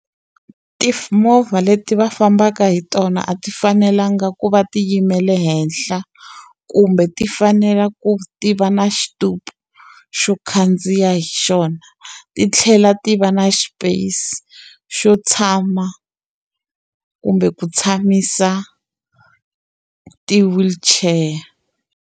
movha leti va fambaka hi tona a ti fanelanga ku va ti yimele henhla, kumbe ti fanela ku ti va na xitupu xo khandziya hi xona. Ti tlhela ti va na space xo tshama kumbe ku tshamisa ti-wheelchair.